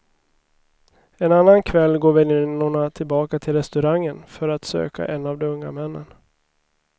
En annan kväll går väninnorna tillbaka till restaurangen för att söka en av de unga männen.